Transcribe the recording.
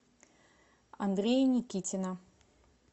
андрея никитина